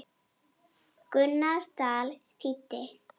Gunnar Dal þýddi.